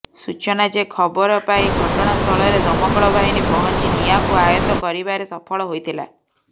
ସୂଚନା ଯେ ଖବର ପାଇ ଘଟଣାସ୍ଥଳରେ ଦମକଳବାହିନୀ ପହଞ୍ଚି ନିଆଁକୁ ଆୟତ୍ତ କରିବାରେ ସଫଳ ହୋଇଥିଲା